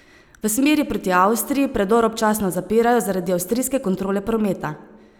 V smeri proti Avstriji predor občasno zapirajo zaradi avstrijske kontrole prometa.